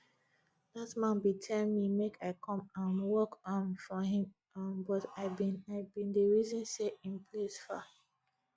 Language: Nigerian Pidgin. dat man bin tell me make i come um work um for him um but i bin i bin dey reason say im place far